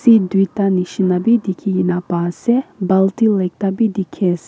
duita nishena b dikhi gina pai ase baltil ekta b dikhi ase.